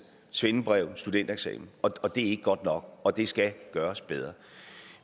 svendebrev eller en studentereksamen og det er ikke godt nok og det skal gøres bedre